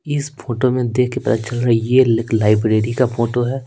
इस फोटो में देख के पता चल रहा है ये लाइब्रेरी का फोटो है।